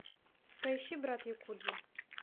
поищи брат якудзы